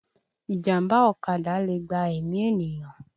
Ìjàmbá ọ̀kadà lè gba ẹ̀mí ènìyàn